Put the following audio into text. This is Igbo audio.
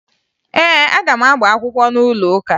Ee, aga m agba akwụkwọ n'ụlọụka